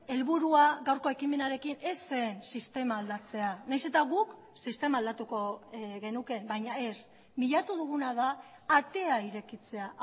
helburua gaurko ekimenarekin ez zen sistema aldatzea nahiz eta guk sistema aldatuko genuke baina ez bilatu duguna da atea irekitzea